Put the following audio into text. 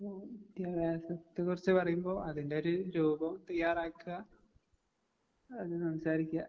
ഉം വിദ്യാഭ്യാസത്തെ കുറിച്ച് പറയുമ്പോ അതിന്റൊരു രൂപം തയ്യാറാക്കുക, അത് സംസാരിക്കുക.